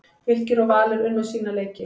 Fylkir og Valur unnu sína leiki